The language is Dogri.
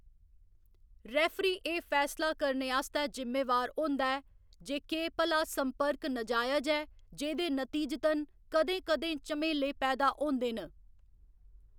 रेफरी एह्‌‌ फैसला करने आस्तै जिम्मेवार होंदा ऐ जे केह्‌‌ भला संपर्क नजायज ऐ, जेह्‌दे नतीजतन कदें कदें झमेले पैदा होंदे न।